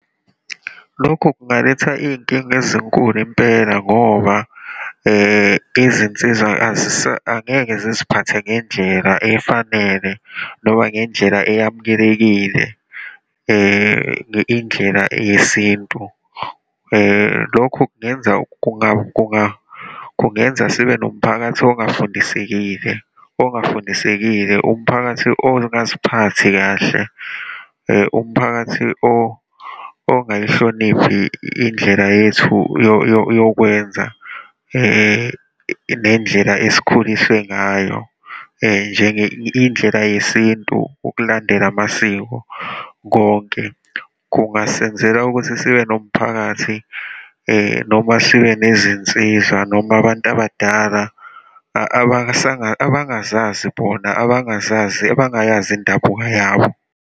Lokhu kungaletha iy'nkinga ezinkulu impela, ngoba izinsizwa angeke ziziphathe ngendlela efanele, noma ngendlela eyamukelekile, indlela yesintu. Lokhu kungenza kungenza sibe nomphakathi ongafundisekile, ongafindisekile, umphakathi ongaziphathi kahle, umphakathi ongayihloniphi indlela yethu yokwenza, nendlela esikhuliswe ngayo, indlela yesintu, ukulandela amasiko, konke. Kungasenzela ukuthi sibe nomphakathi, noma sibe nezinsizwa noma abantu abadala abangazazi bona, abangazazi, abangayazi indabuka yabo.